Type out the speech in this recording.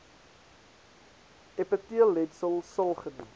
epiteelletsel sil genoem